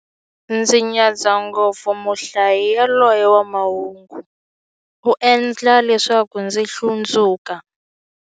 Ndzi nyadza ngopfu muhlayi yaloye wa mahungu, u endla leswaku ndzi hlundzuka.